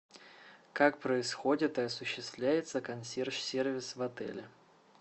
как происходит и осуществляется консьерж сервис в отеле